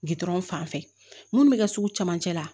Gdɔrɔn fan fɛ minnu bɛ kɛ sugu camancɛ la